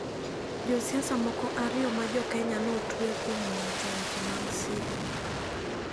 Jo siasa moko ariyo ma jo Kenya ne otwe kuom wacho weche mag sigu.